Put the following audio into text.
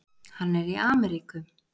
Hann er í Ameríku.